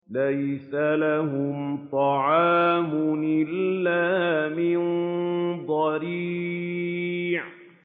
لَّيْسَ لَهُمْ طَعَامٌ إِلَّا مِن ضَرِيعٍ